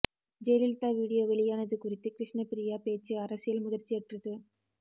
Jayalalithaa video வெளியானது குறித்து கிருஷ்ணபிரியா பேச்சு அரசியல் முதிர்ச்சியற்றது